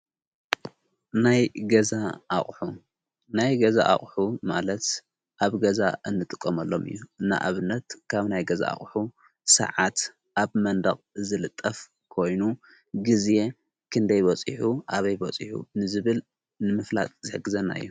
ናይ ገዛ ናይ ገዛ ኣቕሑ ማለት ኣብ ገዛ እንጥቆመሎም እዩ እና ኣብነት ካብ ናይ ገዛ ኣቕሑ ሰዓት ኣብ መንድቕ ዝልጠፍ ኮይኑ ጊዜ ክንደይበፂሑ ኣበይ ቦጺሑ ንዝብል ንምፍላጥ ዘሕግዘና እዮ::